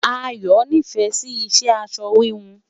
Ayo n'ifẹ Si iṣẹ aṣọ híhun